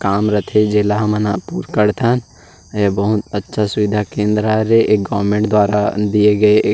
काम रखे जेला हमन ह पुर करथन अ ये बहुत अच्छा सुविधा केंद्र हरे गवर्नमेंट द्वारा दिए गये--